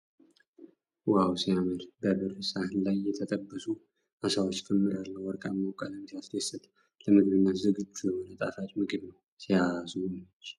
ዋው ሲያምር ! በብር ሳህን ላይ የተጠበሱ ዓሳዎች ክምር አለ ። ወርቃማው ቀለም ሲያስደስት ፤ ለምግብነት ዝግጁ የሆነ ጣፋጭ ምግብ ነው ። ሲያስጎመጅ !